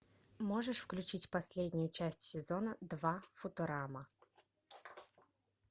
можешь включить последнюю часть сезона два футурама